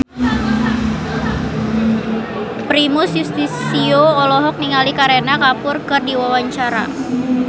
Primus Yustisio olohok ningali Kareena Kapoor keur diwawancara